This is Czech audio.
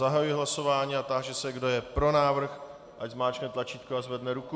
Zahajuji hlasování a táži se, kdo je pro návrh, ať zmáčkne tlačítko a zvedne ruku.